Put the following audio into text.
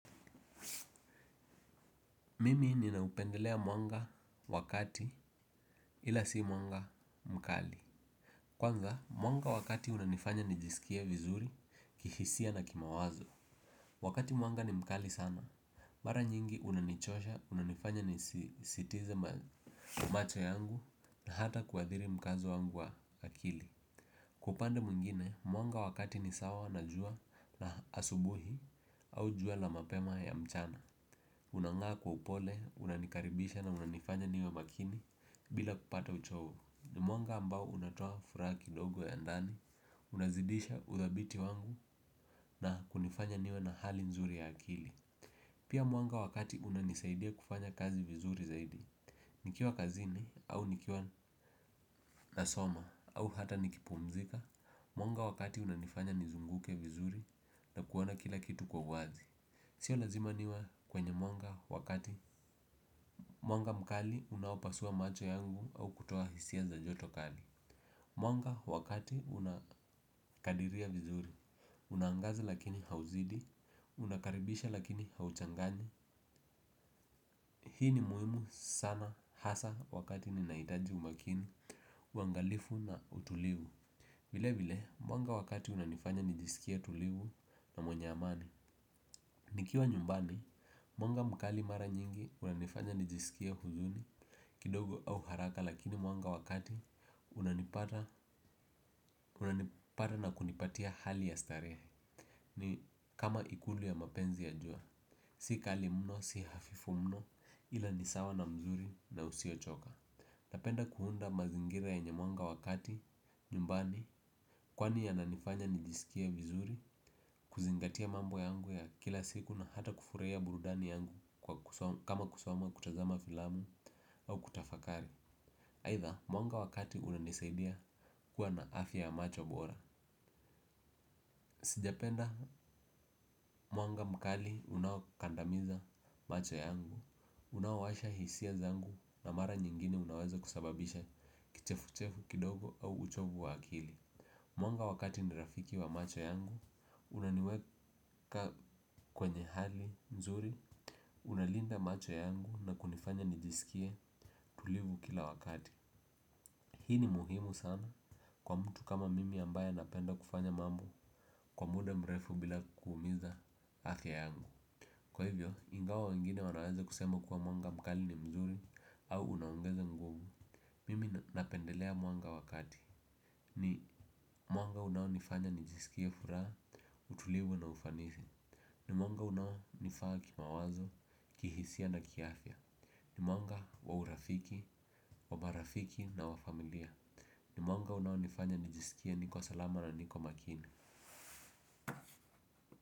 Mimi ninaupendelea mwanga wakati ila si mwanga mkali. Kwanza, mwanga wakati unanifanya nijisikia vizuri, kihisia na kimawazo wakati mwanga ni mkali sana maranyingi unanichosha unanifasya nisisitize macho yangu na kuathiri mkazo wangu wa akili kwa upande mwingine mwanga wa kati nisawa na jua la asubuhi au jua la mapema ya mchana. Unangaa kwa upole, unanikaribisha na unanifanya niwe makini bila kupata uchovu. Mwanga ambao unatua furaki dogo ya ndani. Unazidisha uthabiti wangu na kunifanya niwe na hali nzuri ya akili. Pia mwanga wakati unanisaidia kufanya kazi vizuri zaidi. Nikiwa kazini au nikiwa nasoma au hata nikipumzika mwanga wa kati unanifanya nizunguke vizuri na kuona kila kitu kwa uwazi. Sio lazima niwe kwenye mwanga wakati. Mwanga mkali unawapasua macho yangu au kutoa hisia za jotokali mwanga wa kati unakadiria vizuri unaangaza lakini hauzidi. Unakaribisha lakini hauchangani. Hii ni muhimu sana hasa wakati ninaitaji umakini. Wangalifu na utulivu vile vile mwanga wakati unanifanya nijisikia tuliu na mwenye amani. Nikiwa nyumbani mwanga mkali mara nyingi unanifanya nijisikie huzuni. Kidogo au haraka lakini mwanga wakati unanipata na kunipatia hali ya starehe. Ni kama ikulu ya mapenzi ya jua. Si kali mno, si hafifu mno ila nisawa na mzuri na usio choka. Napenda kuunda mazingira ya nye mwanga wakati, nyumbani. Kwani ya nanifanya nijisikia vizuri, kuzingatia mambo yangu ya kila siku na hata kufuraia burudani yangu. Kama kusama kutazama filamu au kutafakari. Haitha mwanga wa kati unanisaidia kuwa na afya ya macho bora. Sijapenda mwanga mkali unaokandamiza macho yangu. Unaowasha hisia zangu na mara nyingine unaweza kusababisha kichefuchefu kidogo au uchovu wa akili. Mwanga wakati nirafiki wa macho yangu unaniweka kwenye hali nzuri. Unalinda macho yangu na kunifanya nijisikie tulivu kila wakati. Hii ni muhimu sana. Kwa mtu kama mimi ambaya napenda kufanya mamu kwa muda mrefu bila kuumiza afya yangu. Kwa hivyo, ingawa wengine wanaweza kusema kuwa mwanga mkali ni mzuri au unaongeza nguvu. Mimi napendelea mwanga wakati. Ni mwanga unawo nifanya nijisikia furaha, utulivu na ufanisi. Ni mwanga unawo nifaa kimawazo, kihisia na kiafya ni mwanga wa marafiki na wa familia ni mwanga unawonifanya nijisikia niko salama na niko makini.